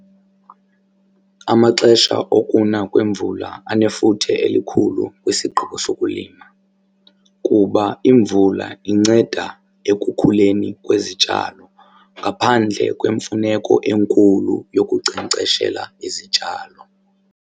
Amaxesha okuna kwemvula anefuthe elikhulu kwisigqibo sokulima kuba imvula inceda ekukhuleni kwezityalo ngaphandle kwemfuneko enkulu yokunkcenkceshela izityalo.